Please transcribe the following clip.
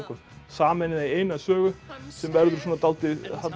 sameinað í eina sögu sem verður dálítið